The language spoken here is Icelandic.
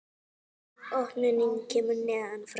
Opnunin kemur neðan frá.